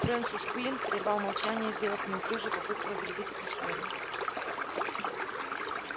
фрэнсис куинн прервал молчание сделав неуклюжую попытку разрядить атмосферу